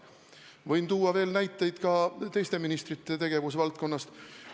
Võin tuua näiteid ka teiste ministrite tegevusvaldkondadest.